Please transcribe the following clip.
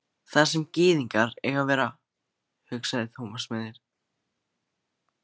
Þar sem gyðingar eiga að vera, hugsaði Thomas með sér.